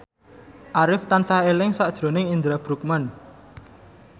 Arif tansah eling sakjroning Indra Bruggman